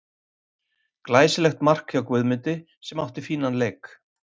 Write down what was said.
Glæsilegt mark hjá Guðmundi sem átti fínan leik.